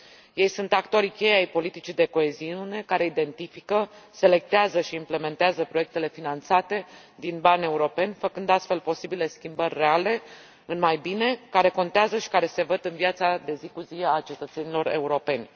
Ei sunt actorii cheie ai politicii de coeziune, care identifică, selectează și implementează proiectele finanțate din bani europeni, făcând astfel posibile schimbări reale în mai bine, care contează și care se văd în viața de zi cu zi a cetățenilor europeni.